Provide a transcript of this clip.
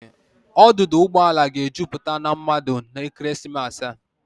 Ọdụdọ ụgbọ ala ga-ejupụta na mmadụ n'ekeresimesi a.